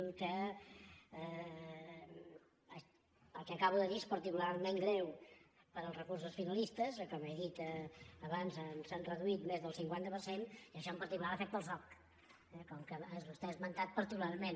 el que acabo de dir és particularment greu per als recursos finalistes com he dit abans ens n’han reduït més del cinquanta per cent i això en particular afecta el soc eh que vostè ha esmentat particularment